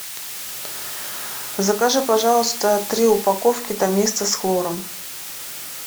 закажи пожалуйста три упаковки доместос с хлором